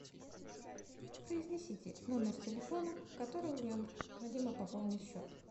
произнесите номер телефона которого необходимо пополнить счет